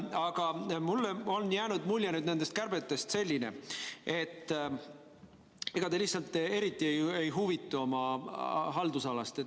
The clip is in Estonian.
Aga mulle on jäänud nendest kärbetest selline mulje, et te lihtsalt eriti ei huvitu oma haldusalast.